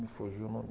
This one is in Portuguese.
Me fugiu o nome.